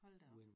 Hold da op